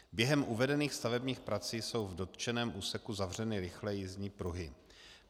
Během uvedených stavebních prací jsou v dotčeném úseku zavřeny rychlé jízdní pruhy.